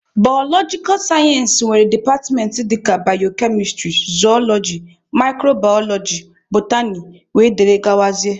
Baalojikal sayensị nwere departmentị dịka bayokemistrị, zooloji, mikrobaaloji, botany wdg